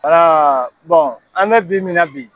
an bɛ bi min na bi.